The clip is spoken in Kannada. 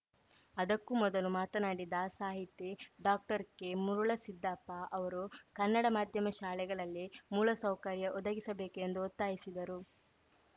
ಅದಕ್ಕೂ ಮೊದಲು ಮಾತನಾಡಿದ ಸಾಹಿತಿ ಡಾಕ್ಟರ್ಕೆಮುರುಳಸಿದ್ದಪ್ಪ ಅವರು ಕನ್ನಡ ಮಾಧ್ಯಮ ಶಾಲೆಗಳಲ್ಲಿ ಮೂಲಸೌಕರ್ಯ ಒದಗಿಸಬೇಕು ಎಂದು ಒತ್ತಾಯಿಸಿದರು